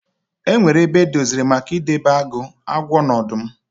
E nwere ebe edoziri maka ị debe agụ, agwọ na ọdụm.